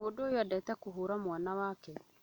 Mũndũũyũeendete kũhũra mwana wake